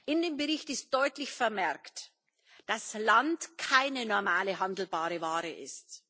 In dem Bericht ist deutlich vermerkt, dass Land keine normale, handelbare Ware ist.